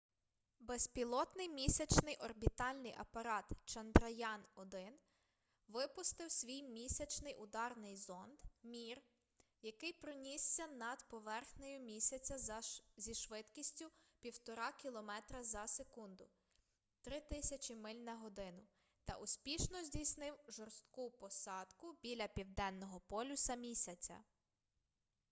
безпілотний місячний орбітальний апарат чандраян-1 випустив свій місячний ударний зонд mip який пронісся над поверхнею місяця зі швидкістю 1,5 кілометра за секунду 3 000 миль на годину та успішно здійснив жорстку посадку біля південного полюса місяця